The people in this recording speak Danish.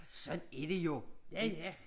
Sådan er det jo ik